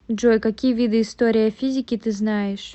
джой какие виды история физики ты знаешь